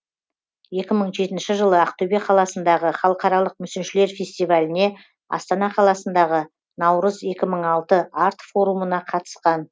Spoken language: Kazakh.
екі мың жетінші жылы ақтөбе қаласындағы халықаралық мүсіншілер фестиваліне астана қаласындағы наурыз екі мың алты арт форумына қатысқан